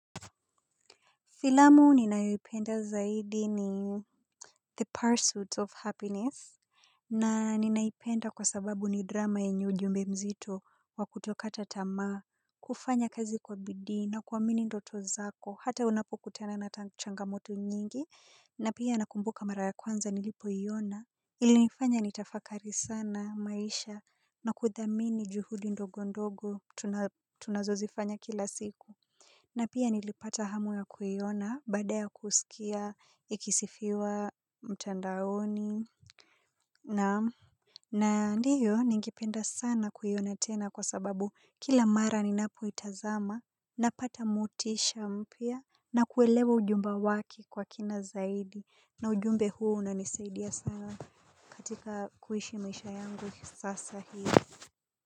Filamu ninayoipenda zaidi ni the pursuit of happiness. Na ninaipenda kwa sababu ni drama yenye ujumbe mzito wa kutoka tamaa. Kufanya kazi kwa bidii na kuamini ndoto zako hata unapokutana na changangamoto nyingi na pia nakumbuka mara ya kwanza nilipoiona ilinifanya nitafakari sana maisha na kudhamini juhudi ndogo ndogo tunazozifanya kila siku. Na pia nilipata hamu ya kuiona baada ya kusikia ikisifiwa mtandaoni. Naam. Na ndiyo ningependa sana kuiona tena kwa sababu kila mara ninapoitazama napata motisha mpya na kuelewa ujumbe wake kwa kina zaidi. Na ujumbe huu unanisaidia sana katika kuishi maisha yangu sasa hiyo.